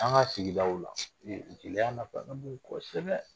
An ka sigidaw la jeliya nafa ka bon kosɛbɛ